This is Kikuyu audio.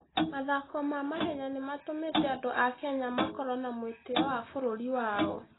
Mathako ma mahenya nĩ matũmĩte andũ a Kenya makorũo na mwĩtĩo wa bũrũri wao.